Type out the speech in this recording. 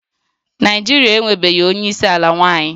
Naịjirịa enwebeghị onye isi ala nwanyị